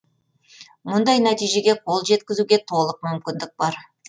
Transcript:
мұндай нәтижеге қол жеткізуге толық мүмкіндік бар